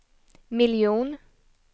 miljon